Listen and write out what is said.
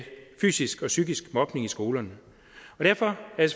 fysisk og psykisk mobning i skolerne derfor er